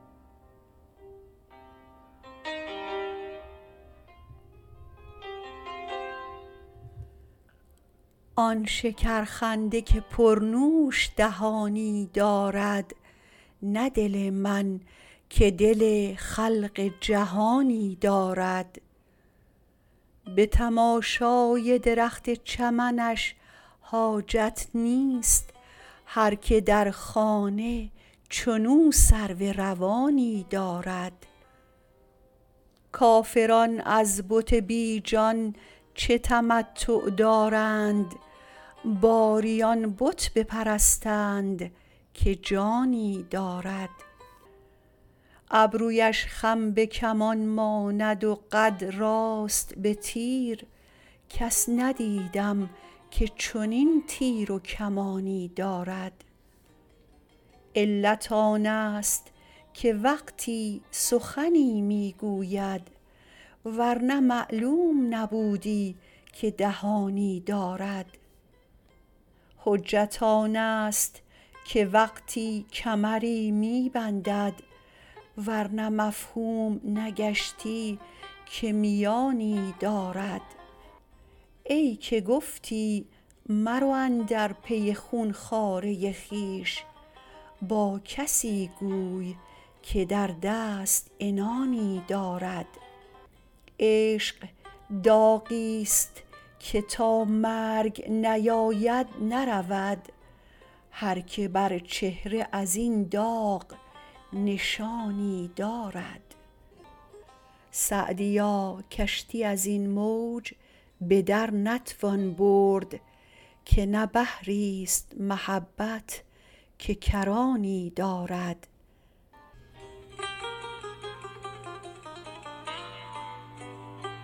آن شکرخنده که پرنوش دهانی دارد نه دل من که دل خلق جهانی دارد به تماشای درخت چمنش حاجت نیست هر که در خانه چنو سرو روانی دارد کافران از بت بی جان چه تمتع دارند باری آن بت بپرستند که جانی دارد ابرویش خم به کمان ماند و قد راست به تیر کس ندیدم که چنین تیر و کمانی دارد علت آنست که وقتی سخنی می گوید ور نه معلوم نبودی که دهانی دارد حجت آنست که وقتی کمری می بندد ور نه مفهوم نگشتی که میانی دارد ای که گفتی مرو اندر پی خون خواره خویش با کسی گوی که در دست عنانی دارد عشق داغیست که تا مرگ نیاید نرود هر که بر چهره از این داغ نشانی دارد سعدیا کشتی از این موج به در نتوان برد که نه بحریست محبت که کرانی دارد